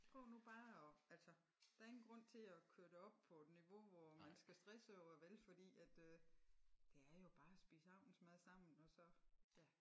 Prøv nu bare at altså der er ingen grund til at køre det op på et niveau hvor man skal stresse over det vel fordi at øh det er jo bare at spise aftensmad sammen og så ja